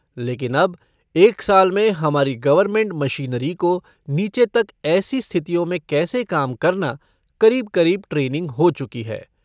लेकिन अब एक साल में हमारी गवर्नमेंट मशीनरी को नीचे तक ऐसी स्थितियों में कैसे काम करना, करीब करीब ट्रेनिंग हो चुकी है।